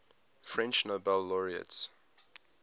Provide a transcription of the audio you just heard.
french nobel laureates